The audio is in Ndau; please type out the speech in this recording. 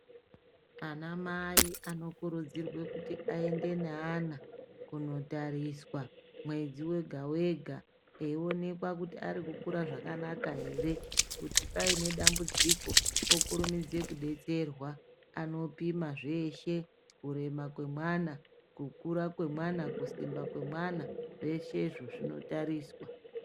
Anamai anokurudzirwa kuti aende neana kunotariswa mwedzi wega wega eionekwa kuti ari kukura zvakanaka ere kuti paine dambudziko okurumidza kudetserwa anopima zveshe kurema kwemwana, kukura kwemwana, kusimba kwemwana zveshe izvozvo zvinotariswa.